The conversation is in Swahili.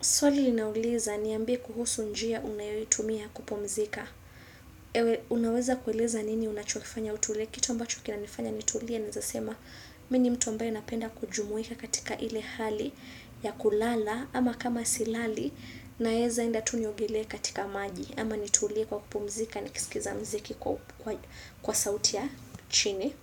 Swali linauliza niambie kuhusu njia unayeitumia kupumzika. Ewe unaweza kueleza nini unachokifanya utulie kitu ambacho kinanifanya nitulie naeza sema mimi ni mtu ambaye napenda kujumuika katika ile hali ya kulala ama kama silali naeza enda tu niogelee katika maji ama nitulie kwa kupumzika nikisikiza mziki kwa sauti ya chini.